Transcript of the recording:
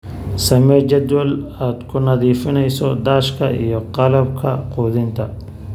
Samee jadwal aad ku nadiifinayso daashka iyo qalabka quudinta.